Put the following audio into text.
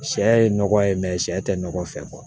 Sɛ ye nɔgɔ ye sɛ tɛ nɔgɔ fɛ